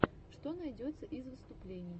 что найдется из выступлений